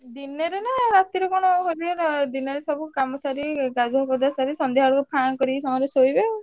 ଦିନରେ ନା ରାତିରେ କଣ ଦିନରେ ସବୁ ଗାଧୁଆ ପାଧୁଆ ସାରି ସନ୍ଧ୍ୟା ବେଳକୁ ଫାଁ ମାରି ସବୁ ଶୋଇବେ ଆଉ।